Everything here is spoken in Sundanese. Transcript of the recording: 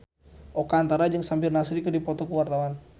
Oka Antara jeung Samir Nasri keur dipoto ku wartawan